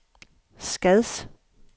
Skads